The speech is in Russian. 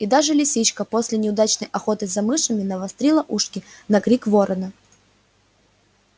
и даже лисичка после неудачной охоты за мышами навострила ушки на крик ворона